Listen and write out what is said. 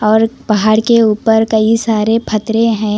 और पहाड़ के ऊपर कई सारे फथरे हैं।